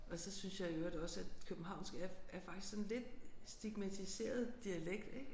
Og så synes jeg i øvrigt også at københavnsk er er faktisk sådan lidt stigmatiseret dialekt ik